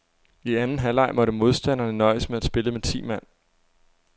I anden halvleg måtte modstanderne nøjes med at spille med ti mand.